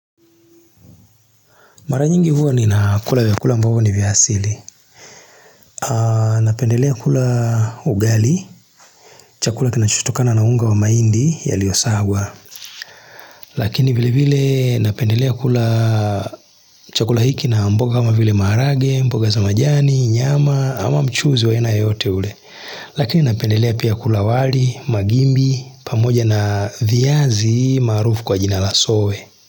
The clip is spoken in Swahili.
Mara nyingi huwa ninakula vyakula ambavyo ni vya asili. Napendelea kula ugali, chakula kinachotokana na unga wa mhaindi yaliyosagwa. Lakini vile vile napendelea kula chakula hiki na mboga kama vile maharage, mboga za majani, nyama ama mchuzi wa aina yoyote ule. Lakini napendelea pia kula wali, magimbi, pamoja na viazi maarufu kwa jina la soe.